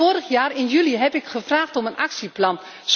Vorig jaar in juli heb ik gevraagd om een actieplan.